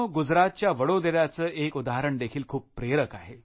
गुजरातच्या वडोदऱ्याचे एक उदाहरण देखील खूप प्रेरक आहे